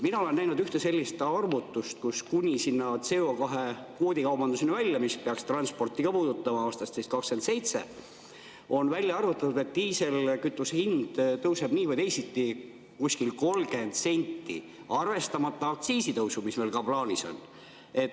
Mina olen näinud ühte sellist arvutust kuni sinna CO2-kvoodi kaubanduseni välja, mis peaks transporti ka puudutama aastast 2027, on välja arvutatud, et diiselkütuse hind tõuseb nii või teisiti umbes 30 senti, arvestamata aktsiisitõusu, mis meil ka plaanis on.